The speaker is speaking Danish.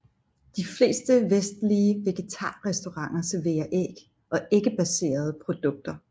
De fleste vestlige vegetarrestauranter serverer æg og æggebaserede produkter